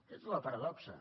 aquesta és la paradoxa